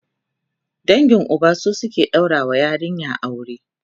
dangin Uba su suke ɗaura wa yarinya aure